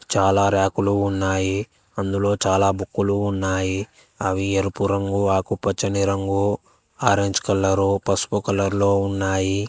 చాలా ర్యకులు ఉన్నాయి అందులో చాలా బుక్కులు ఉన్నాయి అవి ఎరుపు రంగు ఆకుపచ్చని రంగు ఆరేంజ్ కలరు పసుపు కలర్ లో ఉన్నాయి.